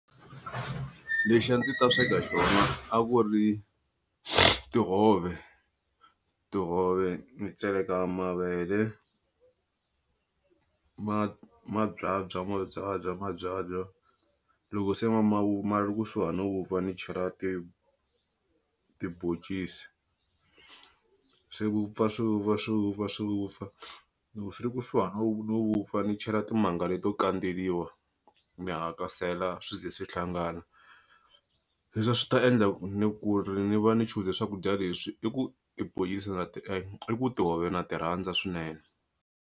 Lexi a ndzi ta sweka xona a ku ri tihove tihove ni tseleka mavele ma ma byabya ma byabya ma byalwa loko se ma ma ri kusuhi no wupfa ni chela tibhoncisi swi vupfa swi vupfa swi vupfa swi wupfa lowu swi ri kusuhana no no vupfa ni chela timanga leto kandzeriwa ni hakasela swwi zi swi hlangana hikuva leswi a swi ta endla ku ni ku ri ni va ni choose-ze swakudya leswi i ku i ku tihove na ti rhandza swinene.